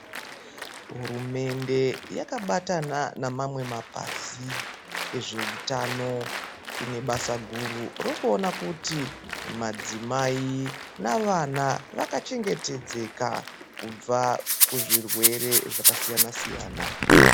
Hurumende yakabatana nemamwe mapazi ezveutano inebasa guru rokuona kuti madzimai navana vakachengetedzeka kubva kuzvirwere zvakasiyana siyana.